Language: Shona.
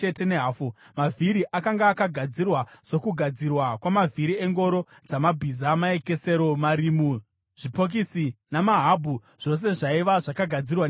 Mavhiri akanga akagadzirwa sokugadzirwa kwamavhiri engoro dzamabhiza; maekesero, marimu, zvipokisi namahabhu zvose zvaiva zvakagadzirwa nendarira.